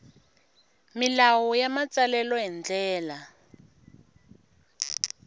milawu ya matsalelo hi ndlela